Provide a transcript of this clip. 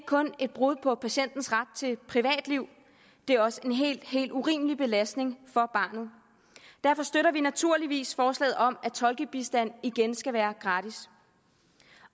kun et brud på patientens ret til privatliv det er også en helt helt urimelig belastning for barnet derfor støtter vi naturligvis forslaget om at tolkebistand igen skal være gratis